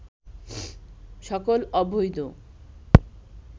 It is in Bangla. সকল অবৈধ